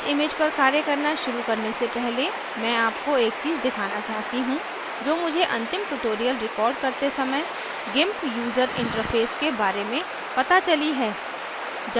इस image पर कार्य करना शुरू करने से पहले मैं आपको एक चीज़ दिखाना चाहती हूँ जो मुझे अंतिम tutorial रिकार्ड करते समय gimp यूजर interface के बारे में पता चली हैं